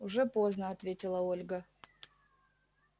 уже поздно ответила ольга